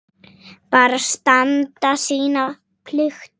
Bara standa sína plikt.